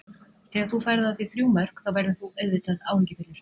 Þegar þú færð á þig þrjú mörk þá verður þú auðvitað áhyggjufullur.